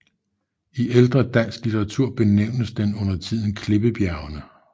I ældre dansk litteratur benævnes den undertiden Klippebjergene